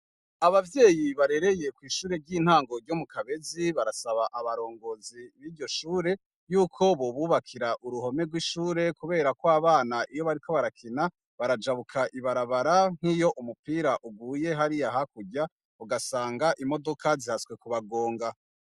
Abavyeyi barereye kw'ishure ry'intango ryo mu Kabezi barasaba abarongozi biryo shure yuko bobubakira uruhome rw'ishure kuberako abana iyo bariko barakina, barajabuka ibarabara nk'iyo umupira uguye hariya hakurya, ugasanga imodoka zihatswe kubagonga.